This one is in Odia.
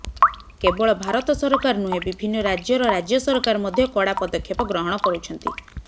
କେବଳ ଭାରତ ସରକାର ନୁହେଁ ବିଭିନ୍ନ ରାଜ୍ୟର ରାଜ୍ୟ ସରକାର ମଧ୍ୟ କଡ଼ା ପଦକ୍ଷେପ ଗ୍ରହଣ କରୁଛନ୍ତି